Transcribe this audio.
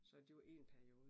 Så det var én periode